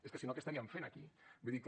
és que si no què estaríem fent aquí vull dir que